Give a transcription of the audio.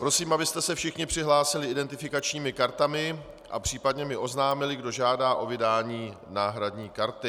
Prosím, abyste se všichni přihlásili identifikačními kartami a případně mi oznámili, kdo žádá o vydání náhradní karty.